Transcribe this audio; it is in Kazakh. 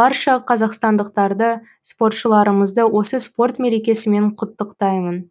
барша қазақстандықтарды спортшыларымызды осы спорт мерекесімен құттықтаймын